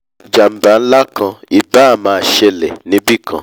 jàmbá nlá kan ì báà máa ṣẹlè níbìkan